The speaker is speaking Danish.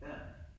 Ja